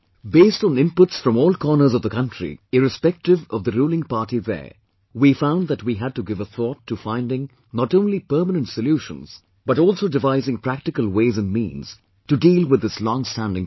Based on inputs from all corners of the country, irrespective of the ruling party there, we found that we had to give a thought to finding not only permanent solutions but also devising practical ways and means to deal with this longstanding problem